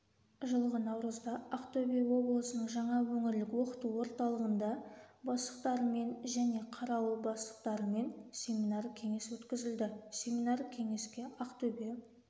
жылғы наурызда ақтөбе облысының және өңірлік оқыту орталығында бастықтарымен және қарауыл бастықтарымен семинар-кеңес өткізілді семинар-кеңеске ақтөбе